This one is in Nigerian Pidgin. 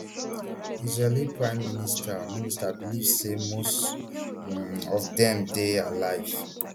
israeli prime minister minister believe say most um of dem dey alive